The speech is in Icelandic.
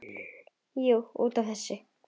Jú, út af þessu.